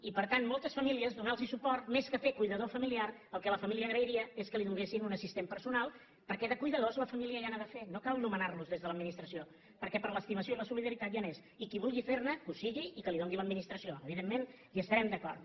i per tant a moltes famílies donarlos suport més que fer de cuidador familiar el que la família agrairia és que li donessin un assistent personal perquè de cuidadors la família ja n’ha de fer no cal nomenarlos des de l’administració perquè per l’estimació i la solidaritat ja n’és i qui vulgui ferne que ho sigui i que li doni l’administració evidentment hi estarem d’acord